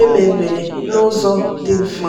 emebere n'ụzọ dị mfe.